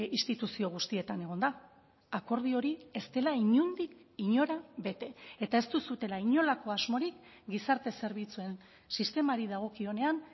instituzio guztietan egonda akordio hori ez dela inondik inora bete eta ez duzuela inolako asmorik gizarte zerbitzuen sistemari dagokionean